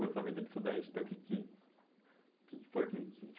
Pouco dessa vida de estudante, então, o que que o que que foi que te